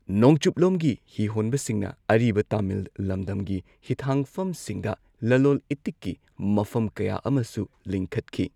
ꯅꯣꯡꯆꯨꯞꯂꯣꯝꯒꯤ ꯍꯤꯍꯣꯟꯕꯁꯤꯡꯅ ꯑꯔꯤꯕ ꯇꯃꯤꯜ ꯂꯝꯗꯝꯒꯤ ꯍꯤꯊꯥꯡꯐꯝꯁꯤꯡꯗ ꯂꯂꯣꯜ ꯏꯇꯤꯛꯀꯤ ꯃꯐꯝ ꯀꯌꯥ ꯑꯃꯁꯨ ꯂꯤꯡꯈꯠꯈꯤ꯫